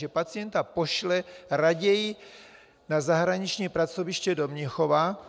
Že pacienta pošle raději na zahraniční pracoviště do Mnichova,